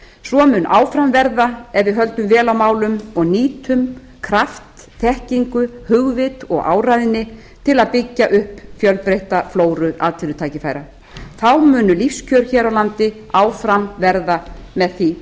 svo mun áfram verða ef við höldum vel á málum og nýtum kraft þekkingu hugvit og áræðni til að byggja upp fjölbreytta flóru atvinnutækifæra þá munu lífskjör hér á landi áfram verða með því